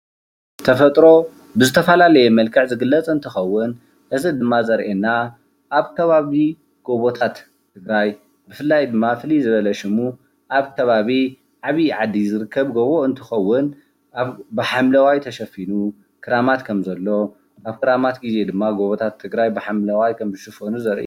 ተፈጥሮ ብዝተፈላለየ መልክዕ ዝግለፅ እንትኸውን እዚ ድማ ዘሪኤና ኣብ ከባቢ ጎቦታት ትግራይ ብፍላይ ድማ ፍልይ ዝበለ ሽሙ ኣብ ከባቢ ዓብይ ዓዲ ዝርከብ ጎቦ እንትኸውን፣ ብሓምለዋይ ተሸፊኑ ክራማት ከምዘሎ፣ ኣብ ክራማት ጊዜ ድማ ጎቦታት ትግራይ ብሓምለዋይ ከም ዝሽፈኑ ዘርኢ እዩ፡፡